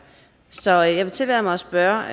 så jeg vil tillade mig at spørge